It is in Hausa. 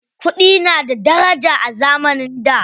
Kuɗi na da daraja a zamanin da.